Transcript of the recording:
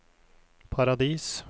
Paradis